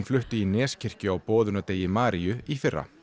flutti í Neskirkju á Maríu í fyrra